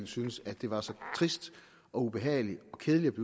syntes at det var så trist ubehageligt og kedeligt